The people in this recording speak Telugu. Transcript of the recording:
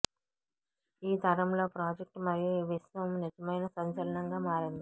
ఈ తరంలో ప్రాజెక్ట్ మరియు ఈ విశ్వం నిజమైన సంచలనంగా మారింది